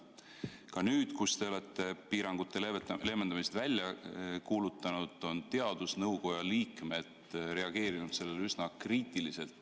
Ka nüüd, kui te olete piirangute leevendamise välja kuulutanud, on teadusnõukoja liikmed reageerinud sellele üsna kriitiliselt.